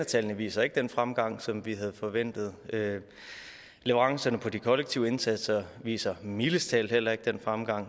tallene viser ikke den fremgang som vi havde forventet og leverancerne på de kollektive indsatser viser mildest talt heller ikke den fremgang